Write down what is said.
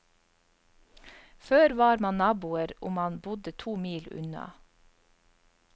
Før var man naboer om man bodde to mil unna.